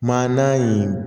Maana in